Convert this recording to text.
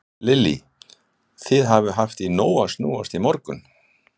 Lillý: Þið hafið haft í nógu að snúast í morgun?